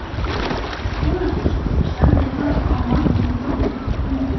Hólabiskup starði fast á Martein og fölnaði.